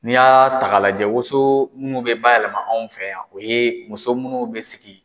N'i y'a ta k'a lajɛ woso minnu bɛ bayɛlɛma anw fɛ yan o ye muso munnu bɛ sigi